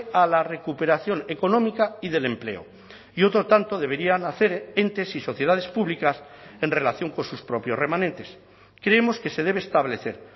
a la recuperación económica y del empleo y otro tanto deberían hacer entes y sociedades públicas en relación con sus propios remanentes creemos que se debe establecer